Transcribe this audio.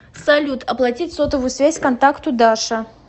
салют оплатить сотовую связь контакту даша